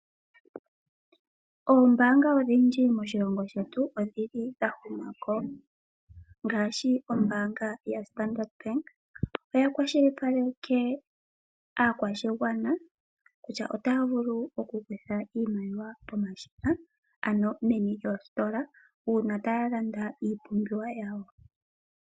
Oombaanga odhindji moshilongo shetu odhili dha humako. Ngaashi ombaanga ya Standard Bank oya kwashilipaleke aakwashigwana kutya otaya vulu oku kutha iimaliwa pomashina ano meni lyoositola uuna taya landa iipumbiwa yawo.